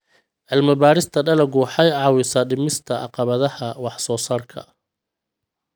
Cilmi-baarista dalaggu waxay caawisaa dhimista caqabadaha wax-soo-saarka.